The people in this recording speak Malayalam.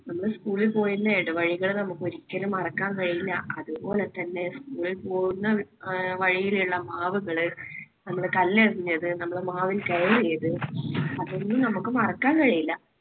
നമ്മൾ school ൽ പോയിരുന്ന ഇടവഴികൾ നമുക്ക് ഒരിക്കലും മറക്കാൻ കഴിയില്ല. അതുപോലെതന്നെ school ൽ പോകുന്ന വഴിയിലുള്ള മാവുകള് നമ്മൾ കല്ലെറിഞ്ഞത്, നമ്മൾ മാവിൽ കയറിയത് അതൊന്നും നമുക്ക് മറക്കാൻ കഴിയില്ല.